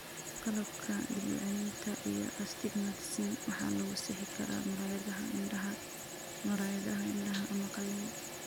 Qaladka dib u celinta iyo astigmatism waxaa lagu sixi karaa muraayadaha indhaha, muraayadaha indhaha, ama qalliin.